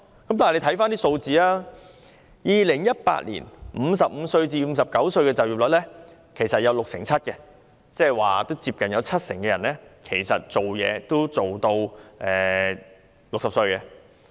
但大家看看數字 ，2018 年55至59歲人士的就業率是六成七，即接近七成人也工作至60歲。